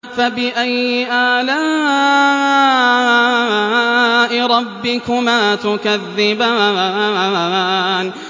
فَبِأَيِّ آلَاءِ رَبِّكُمَا تُكَذِّبَانِ